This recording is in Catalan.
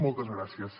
moltes gràcies